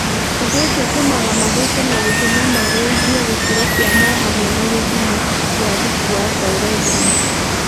ũndũ ũcio ũtũmaga mathũke na gũtũma magũithie gĩkĩro kĩamo o hamwe na gĩthimo kĩa thubu wa baerethirini..